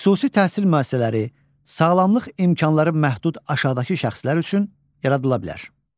Xüsusi təhsil müəssisələri sağlamlıq imkanları məhdud aşağıdakı şəxslər üçün yaradıla bilər.